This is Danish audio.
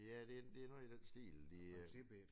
Ja det det er noget i den stil de øh